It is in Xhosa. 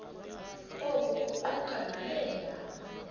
oku kuquka nabeendaba